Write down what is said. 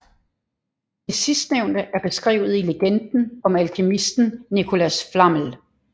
Det sidstnævnte er beskrevet i legenden om alkemisten Nicolas Flamel